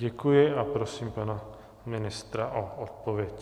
Děkuji a prosím pana ministra o odpověď.